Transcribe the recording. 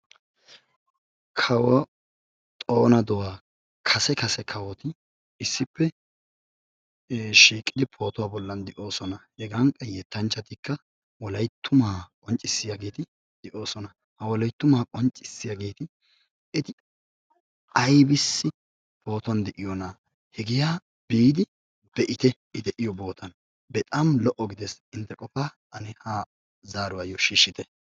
Kawo xoona duwa kase kase kawotti issippe shiiqidi pootuwa bollan de'oosona. hegan qa yettanchchatikka wolayttuma qonccissiyaageeti pootuwa bolan de'oosona. ha wolayttuma qonccissiyageeti eti aybbissi pootuwan de'oyoona? hega biidi be'itte I de'iyo sohuwan. bexaam lo''o gidees. innte qofaa ha zaaruwayyo shiishshite.